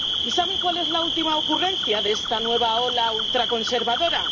¿Y saben cuál es la última ocurrencia de esta nueva ola ultraconservadora?